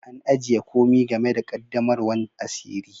An ajie komi game da qaddamarwan asiri.